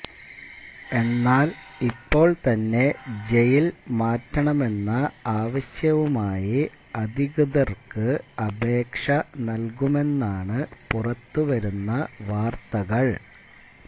എന്നാല് ഇപ്പോള് തന്നെ ജയില് മാറ്റണമെന്ന ആവശ്യവുമായി അധികൃതര്ക്ക് അപേക്ഷ നല്കുമെന്നാണ് പുറത്തുവരുന്ന വാര്ത്തകള്